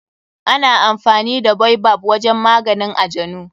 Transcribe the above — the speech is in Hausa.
Ana amfani da baobab wajen maganin ajanu.